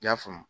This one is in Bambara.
I y'a faamu